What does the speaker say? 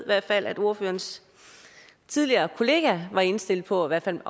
hvert fald at ordførerens tidligere kollega var indstillet på i hvert fald